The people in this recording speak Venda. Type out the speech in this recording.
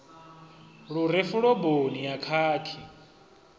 lu re fuloboni ya khakhi